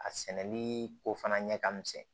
A sɛnɛli ko fana ɲɛ ka misɛn